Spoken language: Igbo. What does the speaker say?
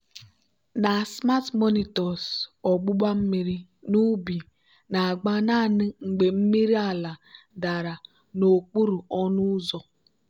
na smart monitors ogbugba mmiri n'ubi na-agba naanị mgbe mmiri ala dara n'okpuru ọnụ ụzọ.